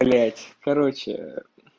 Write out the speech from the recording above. блять короче